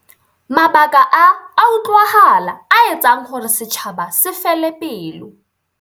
Mabaka a a utlwahala a etsang hore setjhaba se fele pelo.